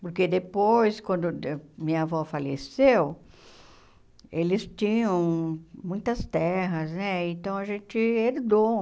Porque depois, quando minha avó faleceu, eles tinham muitas terras né, então a gente herdou.